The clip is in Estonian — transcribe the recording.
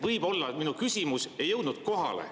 Võib-olla minu küsimus ei jõudnud kohale.